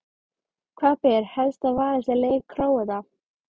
Hvað ber helst að varast í leik Króata?